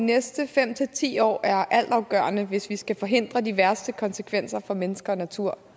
næste fem ti år er altafgørende hvis vi skal forhindre de værste konsekvenser for mennesker og natur